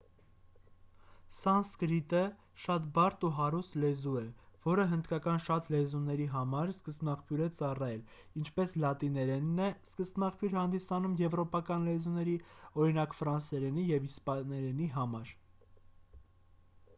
սանսկրիտը շատ բարդ ու հարուստ լեզու է որը հնդկական շատ լեզուների համար սկզբնաղբյուր է ծառայել ինչպես լատիներենն է սկզբնաղբյուր հանդիսանում եվրոպական լեզուների օրինակ ֆրանսերենի և իսպաներենի համար